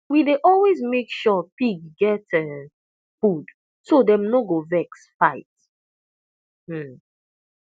we dey always make sure pig get um food so dem no go vex fight um